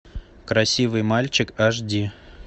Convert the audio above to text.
красивый мальчик аш ди